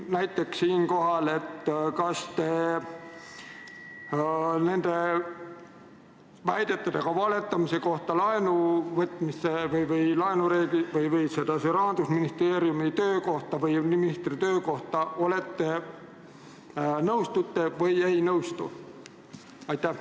Näiteks, kas te nende väidetega valetamise kohta, väidetega laenureeglite ja Rahandusministeeriumi töö kohta või ministri töö kohta nõustute või ei nõustu?